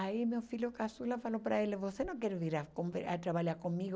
Aí meu filho Caçula falou para ele, você não quer vir a conver a trabalhar comigo?